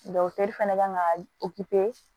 fɛnɛ kan ka